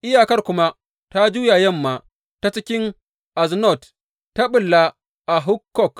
Iyakar kuma ta juya yamma ta cikin Aznot Tabo ta ɓulla a Hukkok.